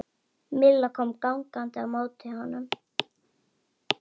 Milla kom gangandi á móti honum.